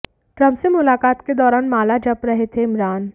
Trump से मुलाकात के दौरान माला जप रहे थे इमरान